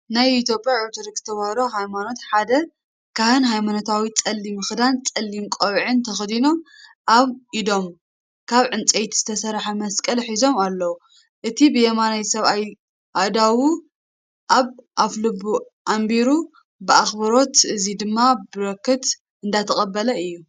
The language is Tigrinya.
ናይ ኢትዮጵያ ኦርቶዶክስ ተዋህዶ ሃይማኖትሓደ ካህን ሃይማኖታዊ ጸሊም ክዳንን ጸሊም ቆቢዕን ተኸዲኖም ኣብ ኢዶም ካብ ዕንፀይቲ ዝተሰረሓ መስቀል ሒዞም ኣሎ። እቲ ብየማን ሰብኣይ ኣእዳዉ ኣብ ኣፍልቡ ኣንቢሩ ብኣኽብሮት እዚ ድማ በረኸት እንዳተቀበለ እዩ።